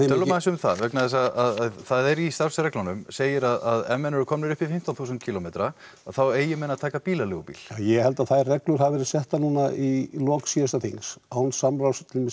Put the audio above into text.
tölum aðeins um það vegna þess að það er í starfsreglunum segir að ef menn eru komnir upp í fimmtán þúsund kílómetra þá eigi menn að taka bílaleigubíl ég held að þær reglur hafi verið settar núna í lok síðasta þings án samráðs